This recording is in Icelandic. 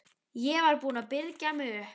Ég var búin að byrgja mig upp.